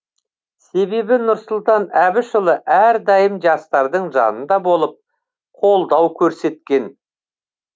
себебі нұрсұлтан әбішұлы әрдайым жастардың жанында болып қолдау көрсеткен